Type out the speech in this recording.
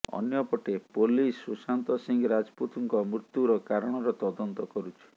ଅନ୍ୟପଟେ ପୋଲିସ୍ ସୁଶାନ୍ତ ସିଂହ ରାଜପୁତଙ୍କ ମୃତ୍ୟୁର କାରଣର ତଦନ୍ତ କରୁଛି